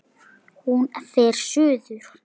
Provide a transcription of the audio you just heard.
Hún fer suður.